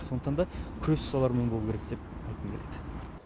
сондықтан да күрес солармен болу керек деп айтқым келеді